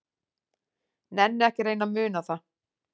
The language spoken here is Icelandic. Nenni ekki að reyna að muna það.